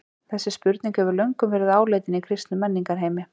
Þessi spurning hefur löngum verið áleitin í kristnum menningarheimi.